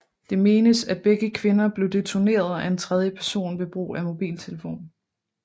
Det menes at begge kvinder blev detoneret af en tredje person ved brug af mobiltelefon